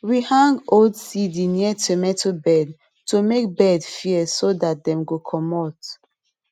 we hang old cd near tomato bed to make bird fear so that dem go commot